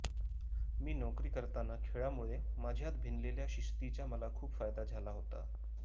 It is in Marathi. मी नोकरी करताना खेळामुळे माझ्यात भिनलेल्या शिस्तीचा मला खूप फायदा झाला होता